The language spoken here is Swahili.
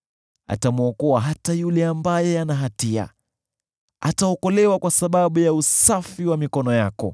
Atamwokoa hata yule ambaye ana hatia, ataokolewa kwa sababu ya usafi wa mikono yako.”